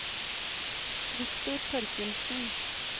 Viktor Torkildsen